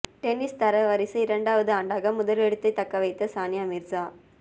tennis தரவரிசை இரண்டாவது ஆண்டாக முதலிடத்தை தக்க வைத்த சானியா மிர்சா